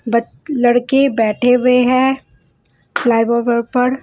ब लड़के बैठे हुए हैं लाइव ओवर पर--